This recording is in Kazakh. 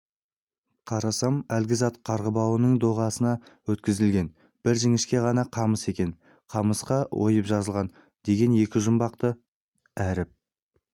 қарасам әлгі зат қарғыбауының доғасына өткізілген бір жіңішке ғана қамыс екен қамысқа ойып жазылған деген екі жұмбақты әріп